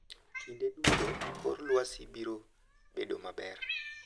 Kinde duto kor lwasi biro bedo maber.